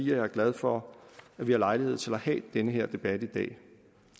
jeg er glad for at vi har lejlighed til at have den her debat i dag